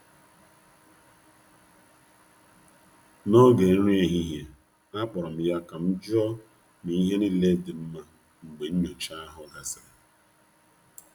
N’oge nri ehihie, akpọrọ m ya ka m jụọ ma ihe niile dị mma mgbe nnyocha ahụ gasịrị.